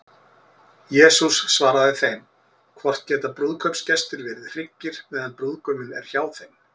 Jesús svaraði þeim: Hvort geta brúðkaupsgestir verið hryggir, meðan brúðguminn er hjá þeim?